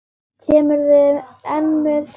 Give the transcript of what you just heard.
Kemurðu enn með þetta rugl!